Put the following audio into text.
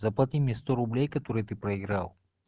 заплати мне сто рублей которые ты проиграл